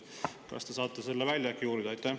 Kas te saate selle välja uurida?